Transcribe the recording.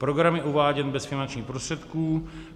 Program je uváděn bez finančních prostředků.